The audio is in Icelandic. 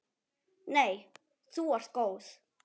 Nei þú ert góð.